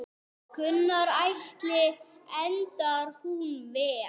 Gunnar Atli: Endar hún vel?